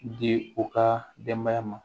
Di u ka denbaya ma